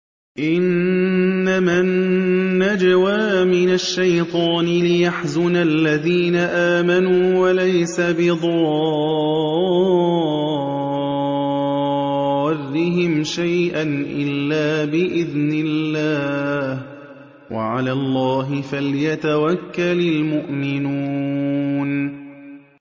إِنَّمَا النَّجْوَىٰ مِنَ الشَّيْطَانِ لِيَحْزُنَ الَّذِينَ آمَنُوا وَلَيْسَ بِضَارِّهِمْ شَيْئًا إِلَّا بِإِذْنِ اللَّهِ ۚ وَعَلَى اللَّهِ فَلْيَتَوَكَّلِ الْمُؤْمِنُونَ